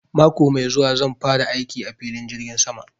Mako mai zuwa zan fara aiki a filin jirgin sama